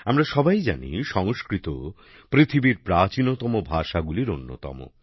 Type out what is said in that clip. আমরা সবাই জানি সংস্কৃত পৃথিবীর প্রাচীনতম ভাষাগুলির অন্যতম